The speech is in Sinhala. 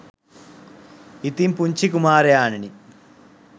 ඉතින් පුංචි කුමාරයාණෙනි